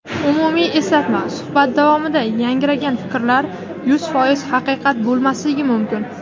Umumiy eslatma: Suhbat davomida yangragan fikrlar yuz foiz haqiqat bo‘lmasligi mumkin.